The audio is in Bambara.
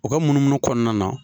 U ka munumunu kɔnɔna na